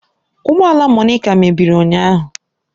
Ụgbọ ala Monica mebiri ụnyahụ